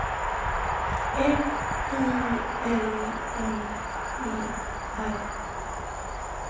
F I L M E R